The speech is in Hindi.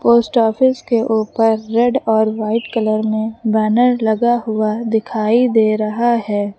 पोस्ट ऑफिस के ऊपर रेड और व्हाइट कलर में बैनर लगा हुआ दिखाई दे रहा है।